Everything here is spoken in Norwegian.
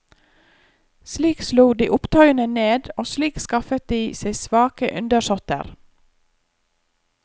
Slik slo de opptøyene ned, og slik skaffet de seg svake undersåtter.